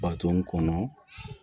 Baton kɔnɔ